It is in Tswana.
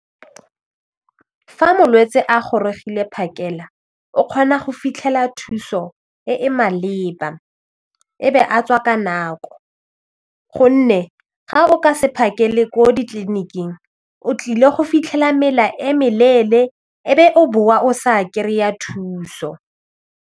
Fa molwetsi a gorogile phakela o kgona go fitlhela thuso e e maleba e be a tswa ka nako gonne ga o ka se phakele ko ditleliniking o tlile go fitlhela mela e meleele e be o boa o sa kry-a thuso.